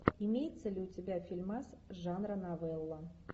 имеется ли у тебя фильмас жанра новелла